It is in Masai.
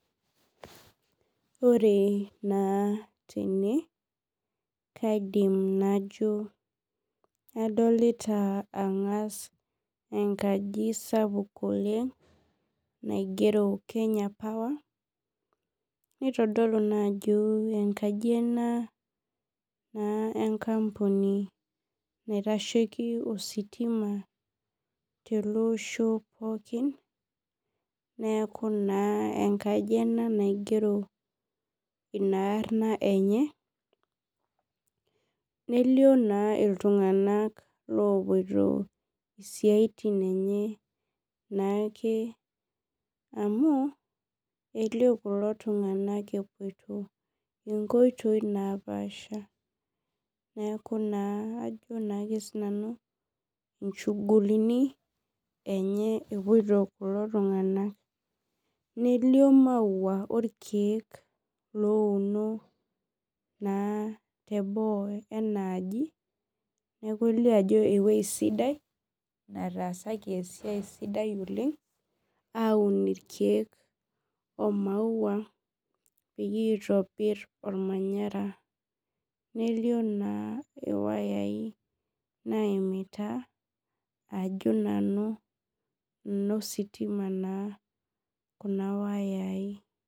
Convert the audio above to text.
Ore na tene kaidim najo adolita angas enkaji sapuk oleng naigero kenya power nitadolu na ajo enkaji ena enkampuni naitashieki ositima teleosho pookin neaku na enkaji ena naigero inaarn enye nelio na ltunganak lopoito siatin enye naake amu elio kulo tunganak epuoiti nkoitoi napaasha neaku ajo na sinanu inchugulini epoito kulo tunganak nelio maua orkiek louno na teboo na enaaji neaku elio ajo ewuei sidaii nataasaki esiai aun irkiek omaua peyie itobir ormanyara nelio na wayau naimita ajo nanuenositima na nona wayai.